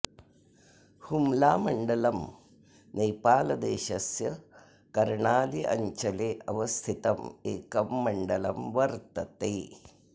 हुम्लामण्डलम् नेपालदेशस्य कर्णाली अञ्चले अवस्थितं एकं मण्डलं वर्तते